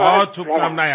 बहुत शुभकामनाएं